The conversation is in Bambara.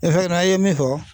i ye min fɔ